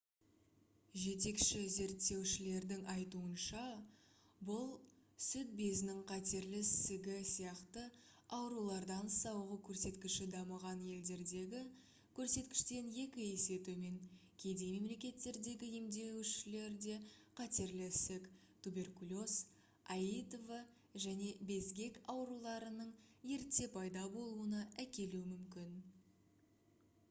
жетекші зерттеушілердің айтуынша бұл сүт безінің қатерлі ісігі сияқты аурулардан сауығу көрсеткіші дамыған елдердегі көрсеткіштен екі есе төмен кедей мемлекеттердегі емделушілерде қатерлі ісік туберкулез аитв және безгек ауруларының ерте пайда болуына әкелуі мүмкін